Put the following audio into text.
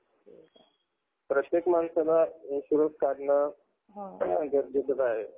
अच्छा! bank मधलं. काय scholarship चं काय loan वगैरे काढायचंय का तुला scholarship साठी? कि